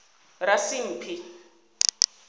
rasimphi